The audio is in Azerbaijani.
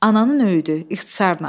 Ananın öyüdü, ixtisarla.